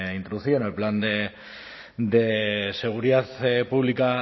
introducido en el plan de seguridad pública